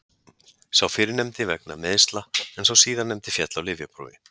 Sá fyrrnefndi vegna meiðsla en sá síðarnefndi féll á lyfjaprófi.